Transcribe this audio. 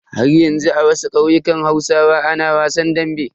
Haryanzu a wasu ƙauyukan hausawa ana wasan dambe.